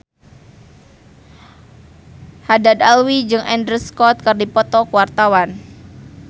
Haddad Alwi jeung Andrew Scott keur dipoto ku wartawan